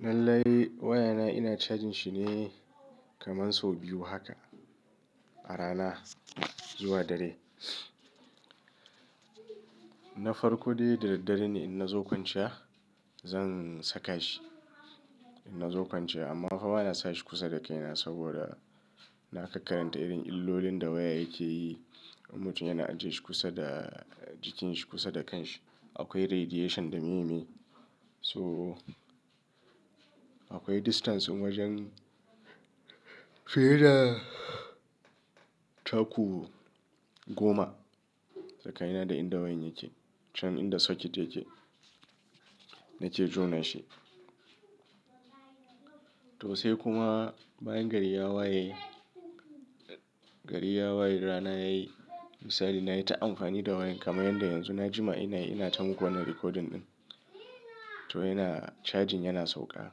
Lallai wayana ina charging shi ne, kamar sau biyu haka a rana zuwa dare. Na farko dai da daddare ne in na zo kwanciya, zan saka shi in na zo kwanciya, amma fa ba na sa shi kusa da kaina saboda, na kakkarianta irin illolin da waya yake yi. Mutum yana ajiye shi kusa da jikinsa kusa da kanshi, akwai radiation da mimi. So, akwai distance wajen, fiye da taku goma tsakanina da inda wayan yake can inda socket yake, nake jona shi. To sai kuma, bayan gari ya waye, gari ya waye rana yayi, misali nayi ta amfani da wayan kamar yadda yanzu na jima ina, ina tamo wannan recording ɗin. To yana, charging yana sauƙa.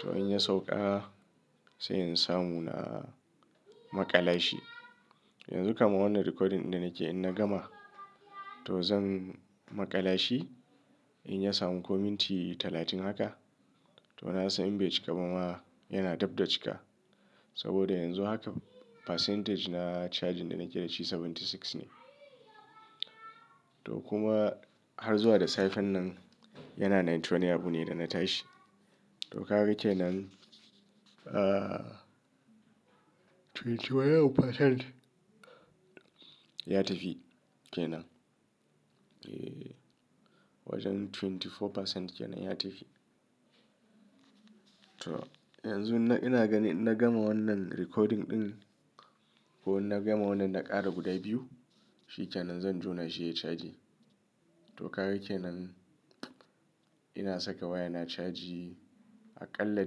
To in ya sauƙa, sai in samu na maƙala shi. Yanzu kaman wannan recording da nake in na gama, to zan maƙala shi. In ya samu comment talatin haka, to na san in bai cika ba ma yana dab da cika. Saboda yanzu haka, percentage na charging da nake da shi seventy six ne. To kuma, har zuwa da safe nan yana ninety wani abu ne da na tashi. To haka yake nan, ahhh twenty wani abu percent, ya tafi kenan. Eeee, wajen twenty four percent kenan ya tafi. To, yanzu ina gani in na gama wannan recording ɗin, ko in na gama wannan na ƙara guda biyu, shi kenan zan jona shi ya charge. To haka yake nan, ina saka waya na charge, aƙalla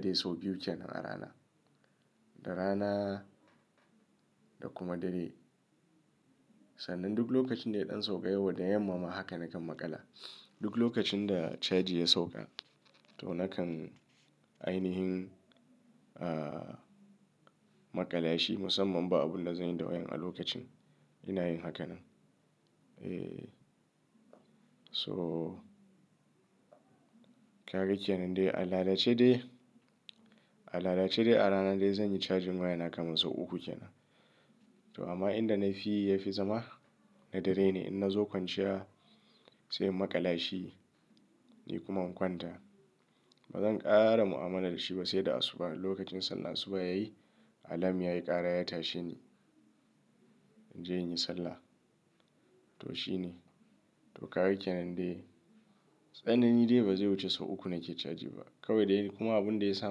dai sau biyu kenan a rana, da rana da kuma dare. Sannan duk lokacin da ya ɗan sauƙa, yau da yamma ma haka nakan maƙala. Duk lokacin da charging ya sauƙa, to nakan ainihin ahhh, maƙala shi musamman ba abun da zanyi da wayan a lokacin. Ina yin haka nan. Eeee. So, haka yake nan dai al'adace dai, al'adace dai a rana dai zanyi charging waya na kamar sau uku kenan. To amma inda na fi yafi zama, na dare ne in na zo kwanciya sai in maƙala shi ni kuma in kwanta. Ba zan ƙara mu'amala da shi ba sai da asuba lokacin sallar asuba yayi, alam yayi ƙara ya tashi ni in je in yi sallah. To shine. To haka yake nan dai. Tsanani dai ba zai wuce sau uku nake charge ba. Kawai dai kuma abin da ya sa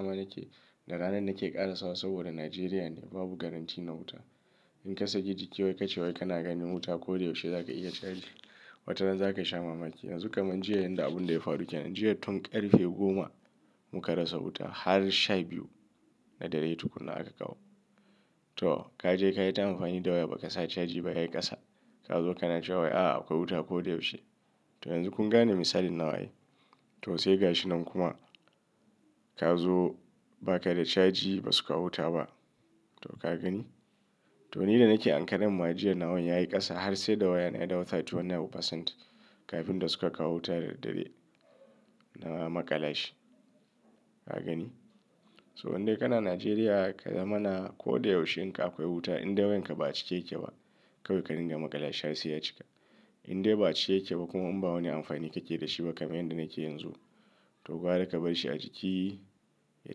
ma nake da rana nake ƙara sa wa saboda Nigeria ne babu guarantee na wuta. In ka saki jiki wai kace wai kana ganin wuta ko da yaushe za ka iya charge. Wata rana za ka sha mamaki. Yanzu kamar jiya yanda abin da ya faru kenan. Jiya tun ƙarfe goma, mu ka rasa wuta har sha biyu, na dare tukuna aka kawo. To, ka je ka yi ta amfani da waya ba ka sa charge ba yayi ƙasa. Ka zo ka na cewa a a akwai wuta ko da yaushe. To yanzu kun gane misalin nawa ai? To sai ga shi nan kuma, ka zo ba ka da charge ba suka kawo wuta ba. To ka gani? To ni da nake a hankaren ma, a jiya nawa yayi ƙasa har sai da wayan ya dau thirty wani abu percent kafin da suka kawo wuta da dare na maƙala shi. Ka gani? So in dai kana Najeriya ka zama na ko da yaushe in ka akwai wuta in da wayan ka ba a cike yake ba kawai ka dinga maƙala shi har sai ya cika. In dai ba a cike yake ba kuma in ba wani amfani kake da shi ba kamar yadda nake yanzu, to gwada ka bar shi a ciki, ya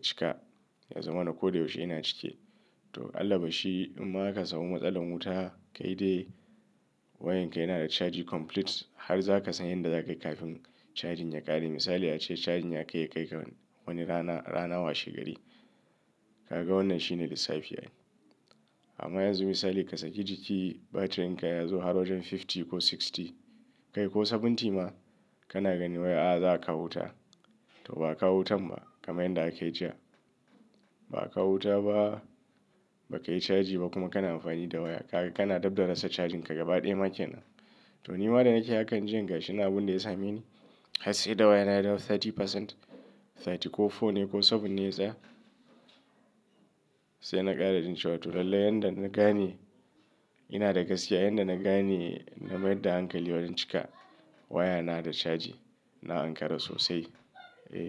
cika ya zama na ko da yaushe yana cike. To Allah ba shi, in ma aka samu matsalar wuta kai dai, wayan ka yana da charging complete har za ka san yadda za ka yi kafin charging ya ƙare. Misali ace charging ya kai ya kai ka wani rana, rana washe gari. Kaga wannan shine lissafi yake. Amma yanzu misali ka saki jiki batirin ka ya zo har wajen fifty ko sixty, kai ko seventy ma kana gani waya a a za a kawo wuta. To ba a kawo wuta ba kamar yadda aka yi jiya. Ba a kawo wuta ba, ba ka yi charging ba kuma kana amfani da waya. Kaga kana dab da rasa charging ka gaba ɗaya maƙe nan. To ni ma da nake hakan jiya ga shi ne abin da ya same ni, har sai da wayan ya dawo thirty percent, thirty ko four ne ko seven ne tsaya. Sai na ƙara nince wa to lallai yanda na gani, ina da gaskiya yanda na gani na mayar da hankali wayan cika, waya na da charging, na Ankara sosai. Eeee.